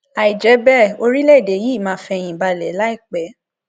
àìjẹ bẹẹ orílẹèdè yìí máa fẹyìn balẹ láìpẹ